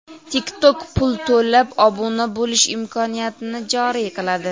TikTok pul to‘lab obuna bo‘lish imkoniyatini joriy qiladi.